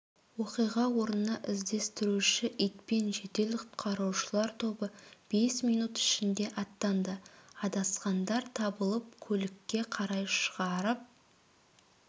оқиға орнына іздестіруші итпен жедел құтқарушылар тобы бес минут ішінде аттанды адасқандар табылып көлікке қарай шығарып